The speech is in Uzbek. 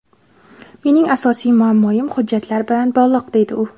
Mening asosiy muammoim hujjatlar bilan bog‘liq, deydi u.